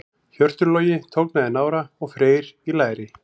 Hjörtur Logi tognaði í nára og Freyr í læri.